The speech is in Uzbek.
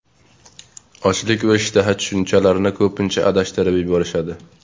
Ochlik va ishtaha tushunchalarini ko‘pincha adashtirib yuborishadi.